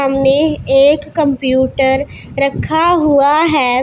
सामने एक कंप्यूटर रखा हुआ है।